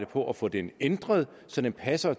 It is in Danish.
på at få den ændret så den passer